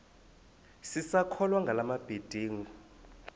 sisakholwa ngala mabedengu